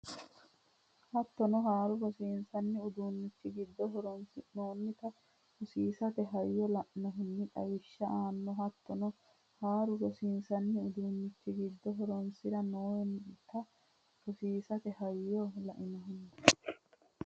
Hattono haaru rosiinsanni uduunnichi giddo horonsi noonnita rosiisate hayyo la annohunni xawishsha aanno Hattono haaru rosiinsanni uduunnichi giddo horonsi noonnita rosiisate hayyo la annohunni.